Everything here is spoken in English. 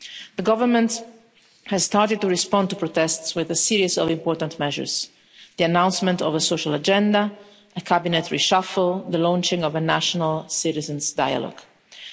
The government has started to respond to protests with a series of important measures the announcement of a social agenda, a cabinet reshuffle, the launching of a national citizens' dialogue.